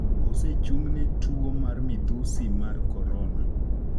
osechung'ne tuo mar midhusi mar Korona,